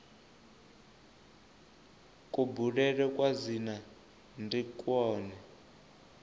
kubulele kwa dzina ndi kwone